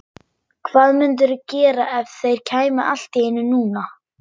Hvað mundirðu gera ef þeir kæmu allt í einu núna?